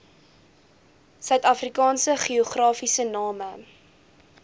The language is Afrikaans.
suidafrikaanse geografiese name